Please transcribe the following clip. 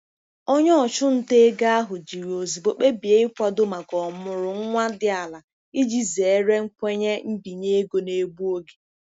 Onye ọchụnta ego ahụ jiri ozugbo kpebie ịkwado maka ọmụrụ nwa dị ala iji zere nkwenye mbinye ego na-egbu oge.